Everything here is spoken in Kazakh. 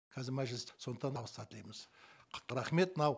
қазір мәжіліс сондықтан табыстар тілейміз рахмет мынау